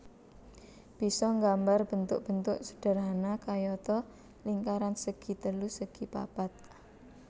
Bisa nggambar bentuk bentuk sederhana kayata lingkaran segi telu segi papat